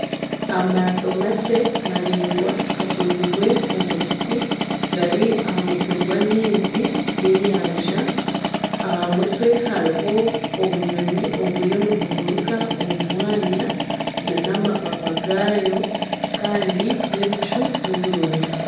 Amaato makye maraingwa gakozirwe omu kiti gari aha mutwe gw'amaizi g'enyanja aha mutwe hariho obunyonyi oburiyo nibuguruka omu mwanya nana amapapa gabyo kandi n'ebicu nibirungi